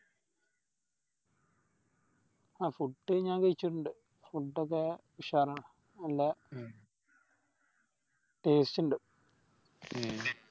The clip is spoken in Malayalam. ആ Food ഞാൻ കയിച്ചിട്ടിണ്ട് Food ഒക്കെ ഉഷാറാണ് നല്ല Taste ഇണ്ട്